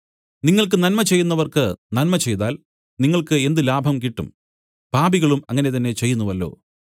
നിങ്ങൾക്ക് നന്മചെയ്യുന്നവർക്ക് നന്മ ചെയ്താൽ നിങ്ങൾക്ക് എന്ത് ലാഭം കിട്ടും പാപികളും അങ്ങനെ തന്നെ ചെയ്യുന്നുവല്ലോ